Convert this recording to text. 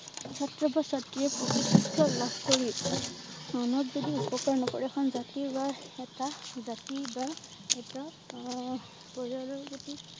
ছাত্ৰ বা ছাত্ৰীৰয়ে লাভ কৰি মনত যদি উপকাৰ নকৰে এখন জাতি বা এটা জাতি বা এটা আহ বজাৰৰ যদি